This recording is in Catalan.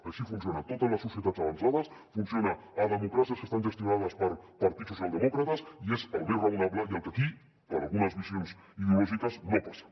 així funciona a totes les societats avançades funciona a democràcies que estan gestionades per partits socialdemòcrates i és el més raonable i el que aquí per a algunes visions ideològiques no passa